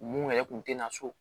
Mun yɛrɛ kun tɛ na so